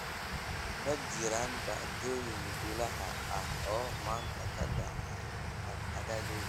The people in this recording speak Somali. Ma jiraan dhacdooyin bilaash ah oo maanta ka dhacay aaggayga?